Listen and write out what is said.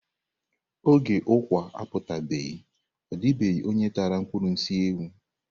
Oge ukwà aputabeghi, ọ dịbeghị onye tara ụkpụrụ nsị ewu.